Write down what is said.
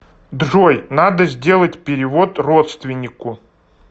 джой надо сделать перевод родственнику